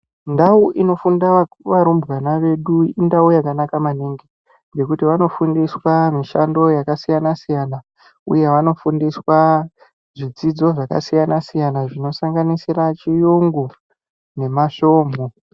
Ndau inofunda vau varumbwana vedu indau yakanaka maningi ngekuti vanofundiswa mishando yakasiyana siyana uye vanofundiswa zvidzidzo zvakasiyana siyana zvinosanganisira chiyungu nemasvomhu.